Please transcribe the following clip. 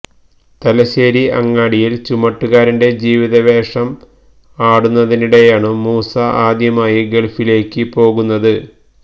തലശേരി അങ്ങാടിയില് ചുമട്ടുകാരന്റെ ജീവിതവേഷം ആടുന്നതിനിടെയാണു മൂസ ആദ്യമായി ഗള്ഫിലേക്കു പോകുന്നത്